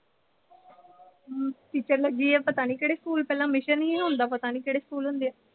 teacher ਲੱਗੀ ਆ ਪਤਾ ਨੀਂ ਕਿਹੜੇ ਸਕੂਲ। ਪਹਿਲਾਂ ਪਤਾ ਨੀਂ ਕਿਹੜੇ ਸਕੂਲ ਹੁੰਦੇ ਆ।